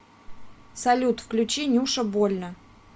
салют включи нюша больно